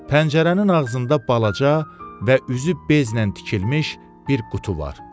Pəncərənin ağzında balaca və üzü bezlə tikilmiş bir qutu var.